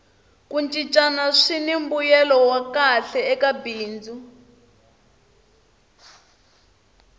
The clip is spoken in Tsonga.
ku cincana swini mbuyelo wa kahle eka bindzu